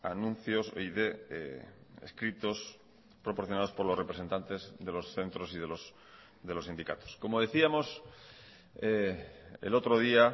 anuncios y de escritos proporcionados por los representantes de los centros y de los sindicatos como decíamos el otro día